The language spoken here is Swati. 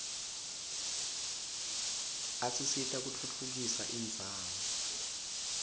asita kutfutfukisa indzawo